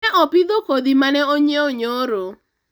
ne opidho kodhi mane onyiewo nyoro